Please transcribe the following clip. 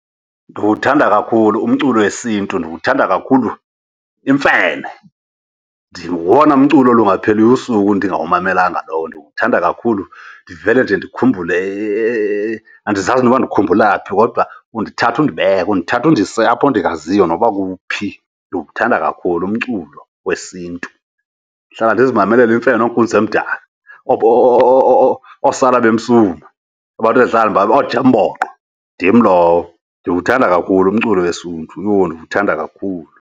Ndiwuthanda kakhulu umculo yesiNtu, ndiwuthanda kakhulu imfene. Ngowona mculo olungapheliyo ubusuku ndiyawumamelanga lowo, ndiwuthanda kakhulu ndivele nje ndikhumbule . Andizazi nokuba ndikhumbula phi kodwa undithatha ndibeke, undithatha undise apho ndingaziyo noba kuphi. Ndiwuthanda kakhulu umculo wesiNtu. Ndihlala ndizimamelele imfene ooInkunzi Emdaka, ooSalabemsuma, abantu endihlala , ooNJEMBOQO, ndim lowo. Ndiwuthanda kakhulu umculo wesiNtu. Yho, ndiwuthanda kakhulu!